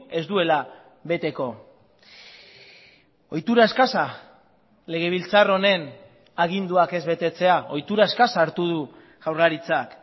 ez duela beteko ohitura eskasa legebiltzar honen aginduak ez betetzea ohitura eskasa hartu du jaurlaritzak